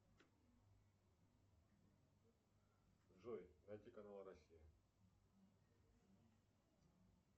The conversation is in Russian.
джой найти канал россия